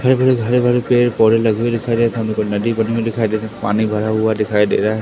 हरे भरे हरे भरे पेड़ पौधे लगे हुए दिखाई दे रहे हैं सामने कोई नदी बनी हुई दिखाई दे पानी भरा हुआ दिखाई दे रहा--